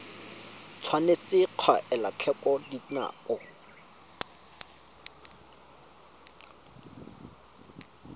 tshwanetse ga elwa tlhoko dinako